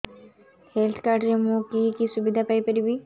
health card ରେ ମୁଁ କି କି ସୁବିଧା ପାଇବି